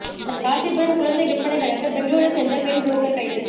ராசிபுரம் குழந்தை விற்பனை வழக்கு பெங்களூரை சேர்ந்த பெண் புரோக்கர் கைது